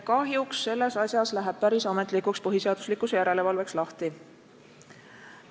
Kahjuks selles asjas läheb päris ametlikuks põhiseaduslikkuse järelevalveks lahti.